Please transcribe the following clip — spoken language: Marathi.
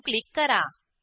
सेव्ह क्लिक करा